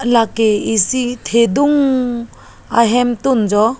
lake isi thedung ahemtun jo.